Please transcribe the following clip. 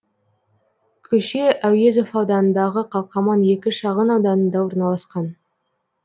көше әуезов ауданындағы қалқаман екі шағын ауданында орналасқан